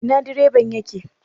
Ina direban yake?